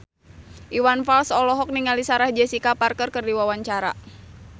Iwan Fals olohok ningali Sarah Jessica Parker keur diwawancara